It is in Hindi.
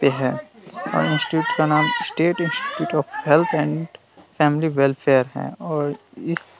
ते है हम इंस्टीट्यूट का नाम state institute of health and family welfare है और इस --